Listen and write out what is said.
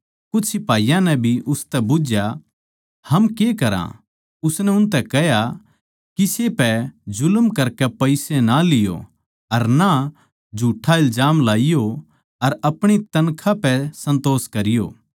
कुछ सिपाहियाँ नै भी उसतै बुझया हम के करा उसनै उनतै कह्या किसे पै जुल्म करकै पिसे ना लियो अर ना झूठ्ठा इल्जाम लाइयो अर अपणी तन्खा पै संतोष करियो